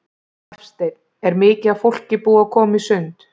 Hafsteinn: Er mikið af fólki búið að koma í sund?